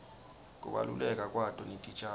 kubaluleka kwato netitjalo